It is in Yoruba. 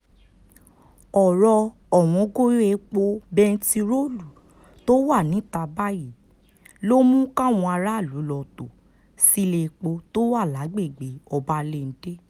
ọ̀rọ̀ ọwọ́ngọyọ epo bẹntiróòlù tó wà níta báyìí ló mú káwọn aráàlú lọ́ọ́ tó sílẹ̀-èpò tó wà lágbègbè ọbalẹ́ńdẹ́